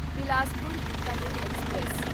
Bilaspur Bikaner express